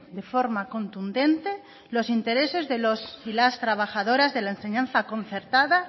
de forma contundente los intereses de los y las trabajadoras de la enseñanza concertada